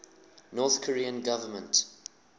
north korean government